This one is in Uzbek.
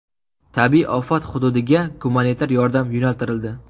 Tabiiy ofat hududiga gumanitar yordam yo‘naltirildi.